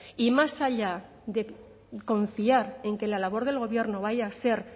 y más allá de confiar en que la labor del gobierno vaya a ser